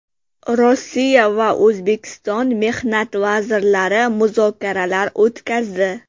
Rossiya va O‘zbekiston mehnat vazirlari muzokaralar o‘tkazdi.